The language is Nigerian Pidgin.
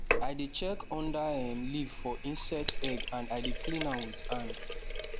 i dey check under um leaf for insect egg and i dey clean am with hand